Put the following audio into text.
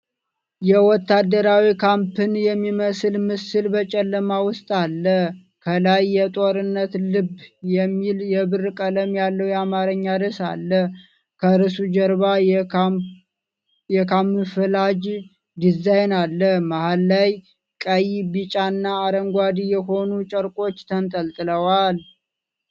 የወታደራዊ ካምፕን የሚመስል ምስል በጨለማ ውስጥ አለ። ከላይ "የጦርነት ልብ" የሚል የብር ቀለም ያለው የአማርኛ ርዕስ አለ። ከርዕሱ ጀርባ የካምፍላጅ ዲዛይን አለ። መሃል ላይ ቀይ፣ ቢጫና አረንጓዴ የሆኑ ጨርቆች ተንጠልጥለዋል።